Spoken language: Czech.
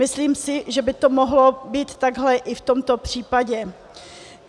Myslím si, že by to mohlo být takhle i v tomto případě.